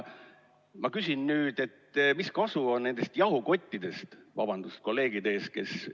Ma küsin nüüd, et mis kasu on nendest jahukottidest – vabandust kolleegide ees!